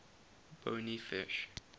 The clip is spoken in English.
bony fish